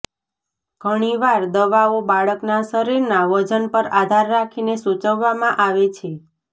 ઘણીવાર દવાઓ બાળકના શરીરના વજન પર આધાર રાખીને સૂચવવામાં આવે છે